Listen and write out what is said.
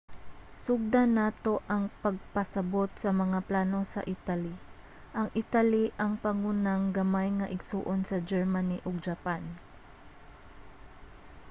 sugdan nato ang pagpasabot sa mga plano sa italy. ang italy ang pangunang gamay nga igsoon sa germany ug japan